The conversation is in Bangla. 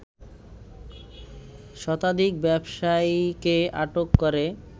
শতাধিক ব্যবসায়ীকে আটক করে